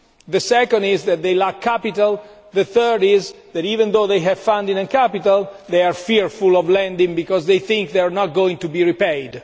the second is that they lack capital and the third is that, even though they have funding and capital, they are fearful of lending because they think they are not going to be repaid.